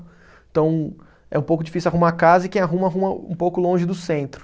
Então, é um pouco difícil arrumar casa e quem arruma, arruma um pouco longe do centro.